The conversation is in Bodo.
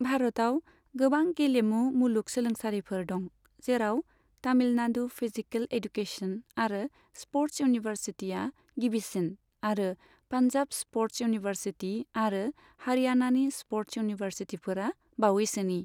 भारतआव गोबां गेलेमु मुलुग सोलोंसालिफोर दं, जेराव तामिलनाडु फिजिकेल एडुकेशन आरो स्प'र्ट्स इउनिभार्सिटीआ गिबिसिन आरो पान्जाब स्प'र्ट्स इउनिभार्सिटी आरो हारियानानि स्प'र्ट्स इउनिभार्सिटीफोरा बावैसोनि।